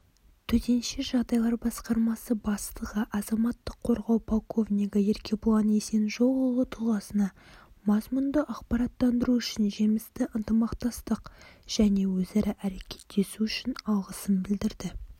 төтенше жағдайлар басқармасы бастығы азаматтық қорғау полковнигі еркебұлан есенжолұлы тұлғасына мазмұнды ақпараттандыру үшін жемісті ынтымақтастық және өзара әрекеттесу үшін алғысын білдірді